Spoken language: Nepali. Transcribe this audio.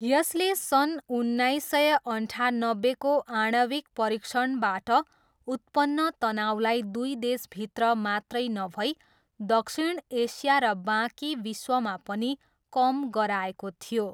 यसले सन् उन्नाइस सय अन्ठानब्बेको आणविक परीक्षणबाट उत्पन्न तनाउलाई दुई देशभित्र मात्रै नभई दक्षिण एसिया र बाँकी विश्वमा पनि कम गराएको थियो।